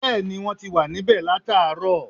Bẹ́ẹ̀ni, wọ́n ti wà níbẹ̀ láààrọ̀